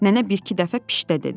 Nənə bir-iki dəfə pişdə dedi.